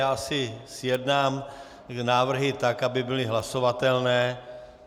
Já si zjednám návrhy tak, aby byly hlasovatelné.